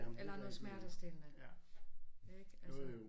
Eller noget smertestillende ikke altså